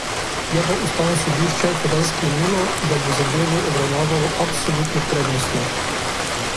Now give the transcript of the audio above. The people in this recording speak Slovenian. Je pa ustavno sodišče tedaj sklenilo, da bo zadevo obravnavalo absolutno prednostno.